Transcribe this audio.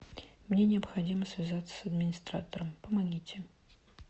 мне необходимо связаться с администратором помогите